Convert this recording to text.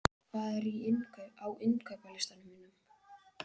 Hafnar, hvað er á innkaupalistanum mínum?